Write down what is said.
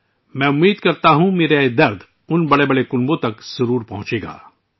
مجھے امید ہے کہ میرا یہ درد ، ان بڑے خاندانوں تک ضرور پہنچے گا